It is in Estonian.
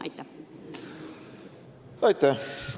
Aitäh!